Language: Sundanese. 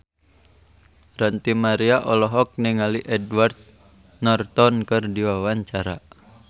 Ranty Maria olohok ningali Edward Norton keur diwawancara